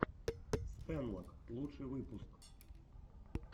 стэнлок лучший выпуск